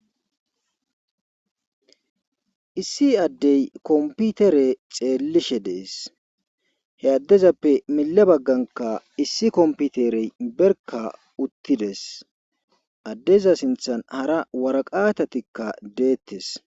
Issi adde kompitire xeelishe dees. he addezappe milezankka issi kompitire barkka uttidees. addeza sinththan hara waraqqatatikka deetees.